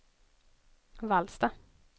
Vallsta